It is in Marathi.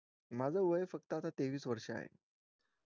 माझं वय फक्त आता तेवीस वर्ष आहे